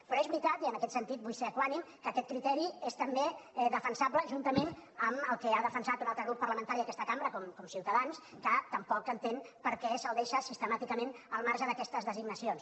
però és veritat i en aquest sentit vull ser equànime que aquest criteri és també defensable juntament amb el que ha defensat un altre grup parlamentari d’aquesta cambra com ciutadans que tampoc entén per què se’l deixa sistemàticament al marge d’aquestes designacions